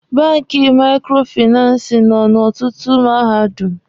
Banki maikrofinansi nọ n'ọtụtụ Mahadum.